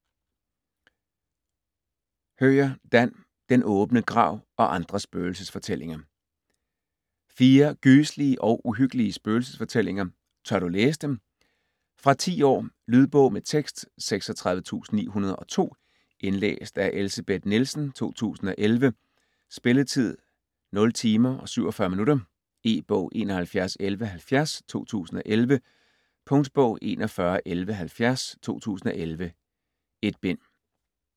Höjer, Dan: Den åbne grav og andre spøgelsesfortællinger Fire gyselige og uhyggelige spøgelsesfortællinger. Tør du læse dem? Fra 10 år. Lydbog med tekst 36902 Indlæst af Elsebeth Nielsen, 2011. Spilletid: 0 timer, 47 minutter. E-bog 711170 2011. Punktbog 411170 2011. 1 bind.